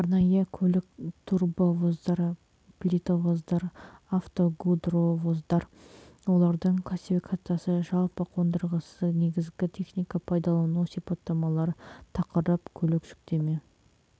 арнайы көлік турбовоздар плитовоздар автогудровоздар олардың классификациясы жалпы қондырғысы негізгі техника пайдалану сипаттамалары тақырып көлік жүктеме